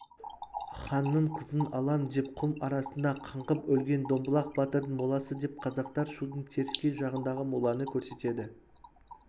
ханның қызын алам деп құм арасында қаңғып өлген домбылақ батырдың моласы деп қазақтар шудың теріскей жағындағы моланы көрсетеді